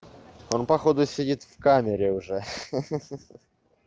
он походу сидит в камере уже ха ха